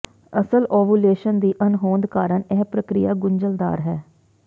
ਅਸਲ ਓਵੂਲੇਸ਼ਨ ਦੀ ਅਣਹੋਂਦ ਕਾਰਨ ਇਹ ਪ੍ਰਕਿਰਿਆ ਗੁੰਝਲਦਾਰ ਹੈ